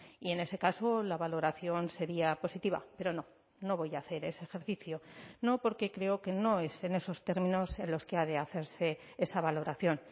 y en ese caso la valoración sería positiva pero no no voy a hacer ese ejercicio no porque creo que no es en esos términos en los que ha de hacerse esa valoración